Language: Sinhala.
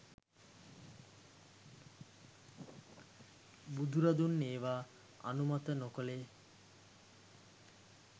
බුදුරදුන් ඒවා අනුමත නොකළේ